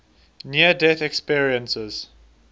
near death experiences